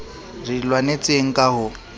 re di lwanetseng ka ho